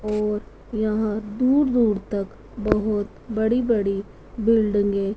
और यहां दूर-दूर तक बहुत बड़ी-बड़ी बिल्डिंगे --